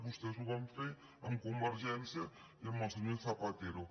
vostès ho van fer amb convergència i amb el senyor zapatero